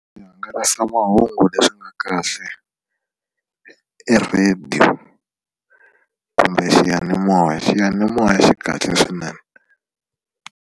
Swihangalasamahungu leswi nga kahle i radio kumbe xiyanimoya xiyanimoya xi kahle swinene.